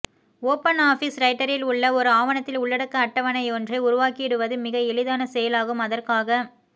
open office ரைட்டரில் உள்ள ஒரு ஆவணத்தில் உள்ளடக்க அட்டவணை யொன்றை உருவாக்கிடுவது மிக எளிதான செயலாகும் அதற்காக